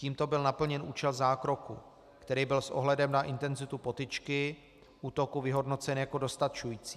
Tímto byl naplněn účel zákroku, který byl s ohledem na intenzitu potyčky, útoku, vyhodnocen jako dostačující.